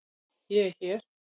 ÉG ER HÉR!